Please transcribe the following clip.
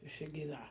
Eu cheguei lá.